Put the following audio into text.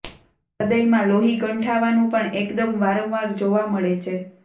હૃદયમાં લોહી ગંઠાવાનું પણ એકદમ વારંવાર જોવા મળે છે